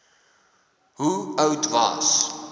hoe oud was